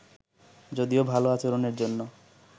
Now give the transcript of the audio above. যদিও ভালো আচরণের জন্য